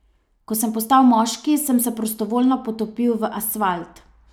Ko sem postal moški, sem se prostovoljno potopil v asfalt.